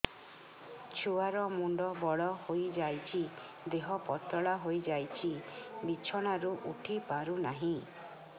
ଛୁଆ ର ମୁଣ୍ଡ ବଡ ହୋଇଯାଉଛି ଦେହ ପତଳା ହୋଇଯାଉଛି ବିଛଣାରୁ ଉଠି ପାରୁନାହିଁ